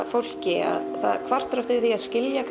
fólki það kvartar yfir því að skilja